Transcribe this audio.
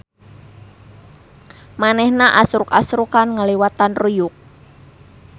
Manehna asruk-asrukan ngaliwatan ruyuk.